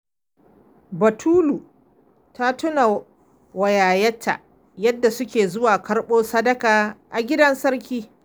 Batulu ta tuna wa yayarta yadda suke zuwa karɓo sadaka a gidan sarki.